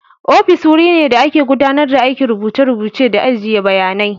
Ofis wuri ne da ake gudanar da aikin rubuce-rubuce da ajiye bayanai.